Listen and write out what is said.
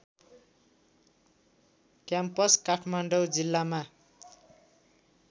campus Kathmandu जिल्लामा